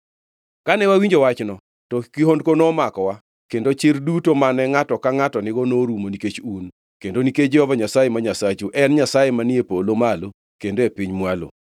Kane wawinjo wachno, to kihondko nomakowa kendo chir duto mane ngʼato angʼata nigo norumo nikech un, kendo nikech Jehova Nyasaye ma Nyasachu en Nyasaye manie polo malo kendo e piny mwalo.